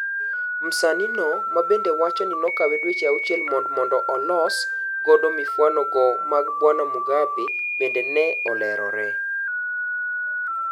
Msanii no, mabende owachoni nokawe dweche auchiel mond mondo olos godo mifwano go mag bwana Mugabe, bende ne olerore.